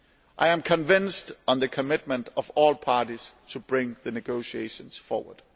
I am convinced of the commitment of all parties to bring the negotiations forward.